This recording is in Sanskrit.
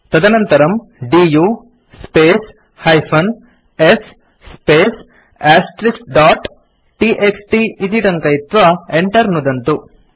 तदनन्तरम् du space -s space dot TXT इति टङ्कयित्वा enter नुदन्तु